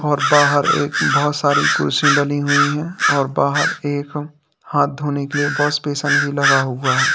और बाहर एक बहुत सारी कुर्सी डली हुई हैं और बाहर एक हाथ धोने के लिए वाश बेसन भी लगा हुआ है।